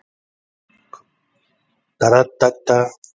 Hvaða lið nær fjórða sætinu og kemst til Evrópu?